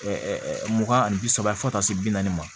mugan ani bi saba fo ka taa se bi naani ma